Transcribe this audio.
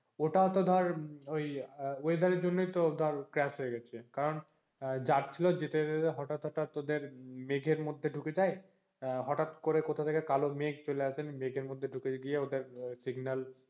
ওটাও তো ধর ওই weather জন্য ধর crash হয়ে গেছে কারণ যাচ্ছিলো যেতে যেতে হটাৎ হটাৎ ওদের মেঘের মধ্যে ঢুকে যায় আহ হটাৎ করে কথা থেকে কালো মেঘ চলে আসে মেঘের মধ্যে ঢুকে গিয়ে ওদের আহ signal